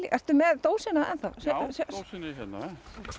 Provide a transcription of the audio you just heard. ertu með dósina enn þá já dósin er hérna